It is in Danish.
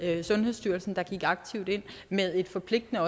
sundhedsstyrelsen der gik aktivt ind med et forpligtende